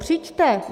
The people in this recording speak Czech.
Přijďte.